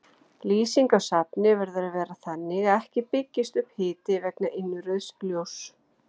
Lýsing á safni verður að vera þannig að ekki byggist upp hiti vegna innrauðs ljóss.